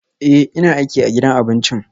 Ee, ina aiki a gidan abincin